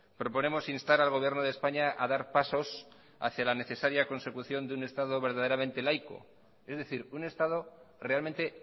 proponemos instar al gobierno de españa a dar pasos hacia la necesaria consecución de un estado verdaderamente laico es decir un estado realmente